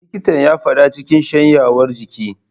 Likitan ya fada cikin shanyewar jiki.